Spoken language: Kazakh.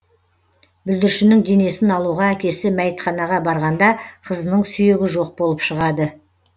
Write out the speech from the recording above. бүлдіршіннің денесін алуға әкесі мәйітханаға барғанда қызының сүйегі жоқ болып шығады